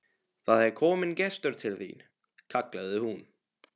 Það er kominn gestur til þín, kallaði hún.